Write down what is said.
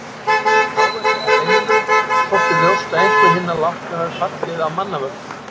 Vegna áverka á beinunum þótti ljóst að einhverjir hinna látnu hafi fallið af manna völdum.